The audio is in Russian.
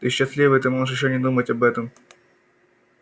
ты счастливый ты можешь и не думать об этом